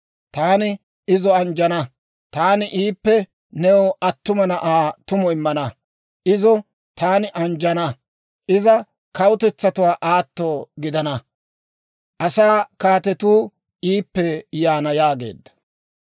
Taani izo anjjana; taani iippe new attuma na'aa tumu immana. Izo taani anjjana; iza kawutetsatuwaa aatto gidana; asaa kaatetu iippe yaana» yaageedda.